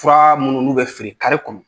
Fura minnu n'u bɛ feere i kɔnɔ.